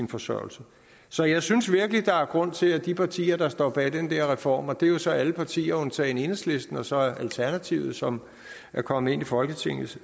forsørgelse så jeg synes virkelig der er grund til at de partier der står bag den der reform og det er jo så alle partier undtagen enhedslisten og så alternativet som er kommet ind i folketingets